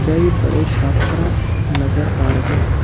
कई बड़े छात्र नजर आ रहे हैं।